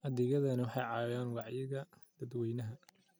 Adeegyadani waxay caawiyaan wacyiga dadweynaha.